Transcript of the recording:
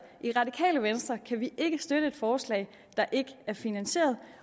i radikale venstre kan vi ikke støtte et forslag der ikke er finansieret